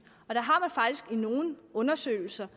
nogle undersøgelser